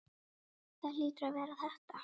Það hlýtur að vera þetta.